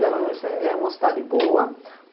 Garanhuns é uma cidade boa.